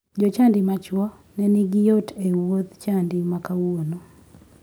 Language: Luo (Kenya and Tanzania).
Jochadi machuo ne nigi yot e wuodh chadi ma kawuono.